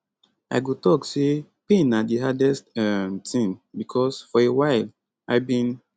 i go tok say pain na di hardest um tin becos for a while i bin